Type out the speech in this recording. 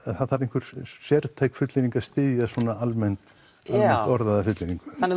það þarf sértæk fullyrðing að styðja svona almennt orðaða fullyrðingu